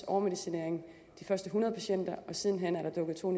overmedicinering af de første hundrede patienter og siden hen er der dukket to